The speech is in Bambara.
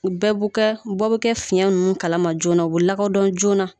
U bɛɛ b'u kɛ bɔ bɛ kɛ fiɲɛ ninnu kalama joona u bɛ lakodɔn joona